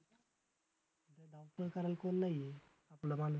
धाव पळ करायला कोण नाही आहे, आपला माणूस.